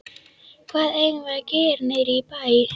Hvað eigum við að gera niðri í bæ?